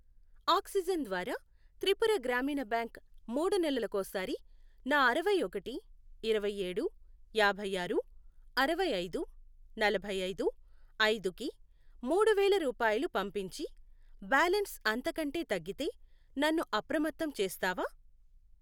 Oxygen ద్వారా త్రిపుర గ్రామీణ bank మూడు నెలలకోసారి నా అరవై ఒకటి, ఇరవై ఏడు, యాభై ఆరు, అరవై ఐదు, నలభై ఐదు, ఐదు, కి మూడు వేలు రూపాయలు పంపించి, బ్యాలన్స్ అంతకంటే తగ్గితే నన్ను అప్రమత్తం చేస్తావా?